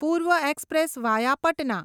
પૂર્વ Express via Patna